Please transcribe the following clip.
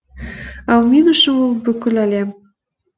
ал мен үшін ол бүкіл әлем